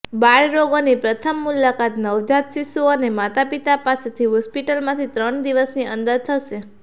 બાળરોગની પ્રથમ મુલાકાત નવજાત શિશુઓ અને માતાપિતા પાસેથી હોસ્પિટલમાંથી ત્રણ દિવસની અંદર થશે